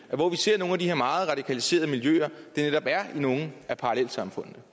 der hvor vi ser nogle af de her meget radikaliserede miljøer jo netop er i nogle af parallelsamfundene